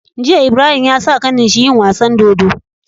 Jiya Ibrahim yasa kanin shi yin wasan dodo